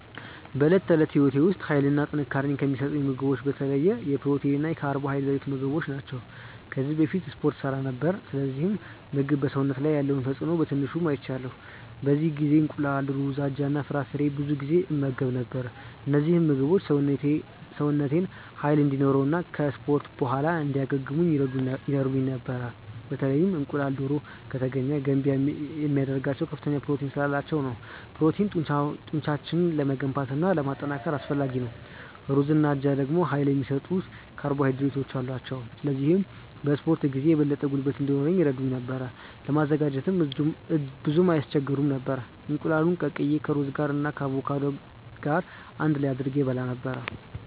በዕለት ተዕለት ሕይወቴ ውስጥ ኃይልና ጥንካሬ የሚሰጡኝን ምግቦች በተለይ የፕሮቲን እና የካርቦሃይድሬት ምግቦች ናቸው። ከዚህ በፊት እስፖርት እሠራ ነበር፣ ስለዚህ ምግብ በሰውነት ላይ ያለውን ተጽእኖ በትንሹ አይቻለሁ። በዚያ ጊዜ እንቁላል፣ ሩዝ፣ አጃ እና ፍራፍሬዎችን ብዙ ጊዜ እመገብ ነበር። እነዚህ ምግቦች ሰውነቴን ኃይል እንዲኖረው እና ከ እስፖርት በኋላ እንዲያገግም ይረዱኝ ነበር። በተለይ እንቁላልና ዶሮ( ከተገኘ ) ገንቢ የሚያደርጋቸው ከፍተኛ ፕሮቲን ስላላቸው ነው። ፕሮቲን ጡንቻን ለመገንባት እና ለማጠናከር አስፈላጊ ነው። ሩዝና አጃ ደግሞ ኃይል የሚሰጡ ካርቦሃይድሬቶች አሏቸው፣ ስለዚህ በ እስፖርት ጊዜ የበለጠ ጉልበት እንዲኖረኝ ይረዱኝ ነበር። ለማዘጋጀትም ብዙም አይስቸግሩም ነበር፤ እንቁላሉን ቀቅዬ ከሩዝ ጋር እና ከአቮካዶ ገር አንድ ላይ አድርጌ እበላ ነበረ።